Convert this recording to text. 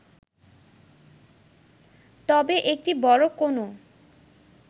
তবে এটি বড় কোনো